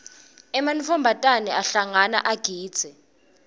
ematfombatane ayahlangana agidze